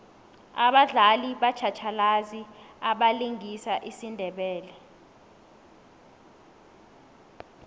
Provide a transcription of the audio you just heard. abadlali batjhatjhalazi abalingisa isindebele